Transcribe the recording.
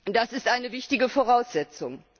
Das ist eine wichtige Voraussetzung.